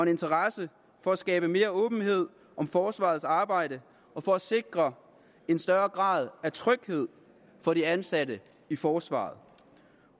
interesse for at skabe mere åbenhed om forsvarets arbejde og for at sikre en større grad af tryghed for de ansatte i forsvaret